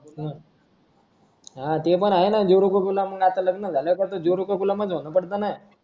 अं हां ते पण आहे ना जोरू का गुलाम अन आता लग्न झाल्यावर पण जोरू का गुलाम च होणं पडतना